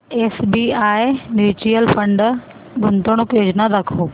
SBI mutual fund गुंतवणूक योजना दाखव